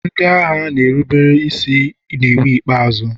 ndị agha na-erube isi n'iwu ikpeazụ.